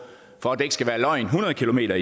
hundrede kilometer